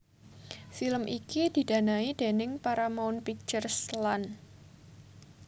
Film iki didanai déning Paramount Pictures lan